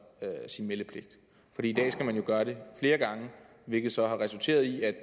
sin meldepligt for i dag skal man jo gøre det flere gange hvilket så har resulteret i at